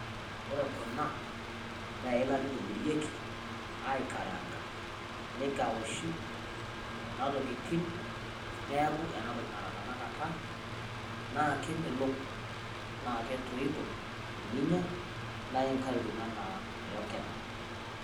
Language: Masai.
Ore kuna nee ilaita aitobireki aikararang'a nekauwishi kuna ntokitin neeku enaa ntoki neraa tena kaata. Naa kemelook na ketoito ninyaa naa inkarurum anaa rong'een